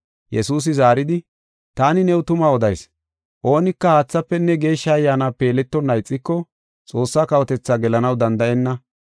Yesuusi zaaridi, “Taani new tuma odayis; oonika haathafenne Geeshsha Ayyaanape yeletonna ixiko, Xoossaa kawotethaa gelanaw danda7enna.